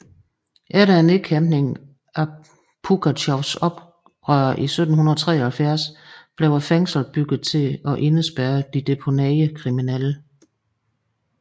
Efter nedkæmpningen af Pugatjovs oprør i 1773 blev fængslet bygget til at indespærre deporterede kriminelle